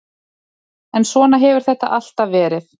En svona hefur þetta alltaf verið.